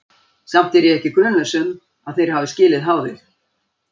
Samt er ég ekki grunlaus um, að þeir hafi skilið háðið.